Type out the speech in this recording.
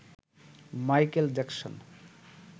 Michael Jackson